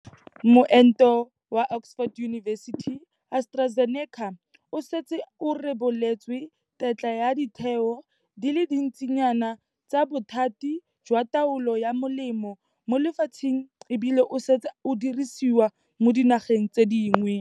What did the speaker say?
Moento wa Oxford University-AstraZeneca o setse o reboletswe tetla ke ditheo di le dintsinyana tsa bothati jwa taolo ya melemo mo lefatsheng e bile o setse o dirisiwa mo dinageng tse dingwe.